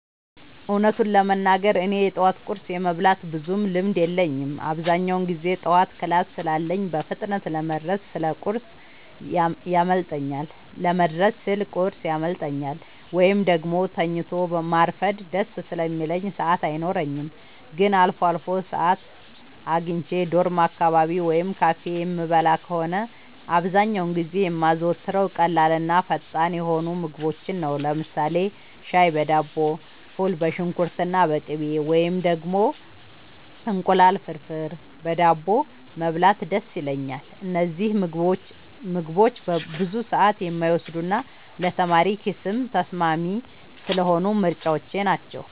እውነቱን ለመናገር እኔ የጠዋት ቁርስ የመብላት ብዙም ልምድ የለኝም። አብዛኛውን ጊዜ ጠዋት ክላስ ስላለኝ በፍጥነት ለመድረስ ስል ቁርስ ያመልጠኛል፤ ወይም ደግሞ ተኝቶ ማርፈድ ደስ ስለሚለኝ ሰዓት አይኖረኝም። ግን አልፎ አልፎ ሰዓት አግኝቼ ዶርም አካባቢ ወይም ካፌ የምበላ ከሆነ፣ አብዛኛውን ጊዜ የማዘወትረው ቀላልና ፈጣን የሆኑ ምግቦችን ነው። ለምሳሌ ሻይ በዳቦ፣ ፉል በሽንኩርትና በቅቤ፣ ወይም ደግሞ እንቁላል ፍርፍር በዳቦ መብላት ደስ ይለኛል። እነዚህ ምግቦች ብዙ ሰዓት የማይወስዱና ለተማሪ ኪስም ተስማሚ ስለሆኑ ምርጫዎቼ ናቸው።